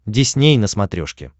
дисней на смотрешке